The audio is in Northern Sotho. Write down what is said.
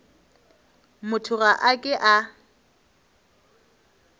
motho ga a ke a